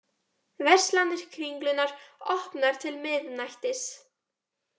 Verslanir Kringlunnar opnar til miðnættis